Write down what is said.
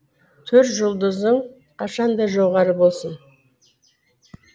төр жұлдызың қашанда жоғары болсын